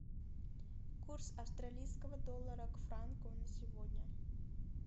курс австралийского доллара к франку на сегодня